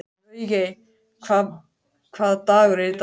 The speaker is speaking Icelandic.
Laugey, hvaða dagur er í dag?